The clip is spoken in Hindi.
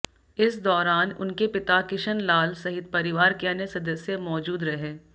इस दौरान उनके पिता किशन लाल सहित परिवार के अन्य सदस्य मौजूद रहे